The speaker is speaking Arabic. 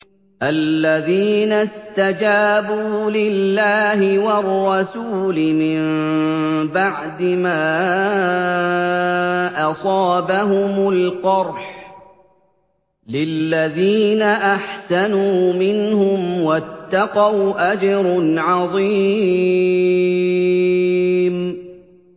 الَّذِينَ اسْتَجَابُوا لِلَّهِ وَالرَّسُولِ مِن بَعْدِ مَا أَصَابَهُمُ الْقَرْحُ ۚ لِلَّذِينَ أَحْسَنُوا مِنْهُمْ وَاتَّقَوْا أَجْرٌ عَظِيمٌ